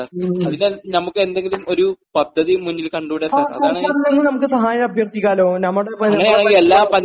മ്..............ങാ...സർക്കാരിൽ നിന്ന് നമുക്ക് സഹായം അഭ്യർത്ഥിക്കാല്ലോ, നമ്മുടെ